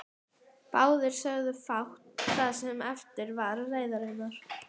Báðir sögðu fátt það sem eftir var leiðarinnar.